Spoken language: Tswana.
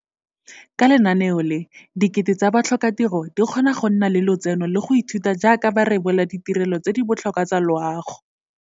Ka lenaneo le, dikete tsa batlhokatiro di kgona go nna le lotseno le go ithuta jaaka ba rebola ditirelo tse di botlhokwa tsa loago.